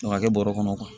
Ka kɛ bɔrɛ kɔnɔ